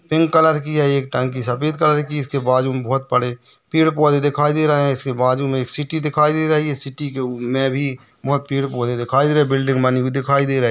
Pink colour की है एक टंकी सफेद कलर की उसके बाजू में बहुत बड़े पेड़ पौधे दिखाई दे रहे हैं इसके बाजू में एक सिटी दिखाई दे रही है सिटी मे बहुत पेड पौधे दिखाई दे रहे है बिल्डिंग बनी हुई दिखाई दे रही है।